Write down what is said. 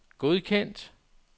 godkendt